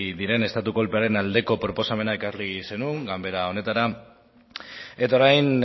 diren estatu kolpearen aldeko proposamena ekarri zenuen ganbara honetara eta orain